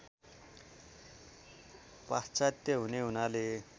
पाश्चात्य हुने हुनाले